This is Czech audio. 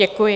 Děkuji.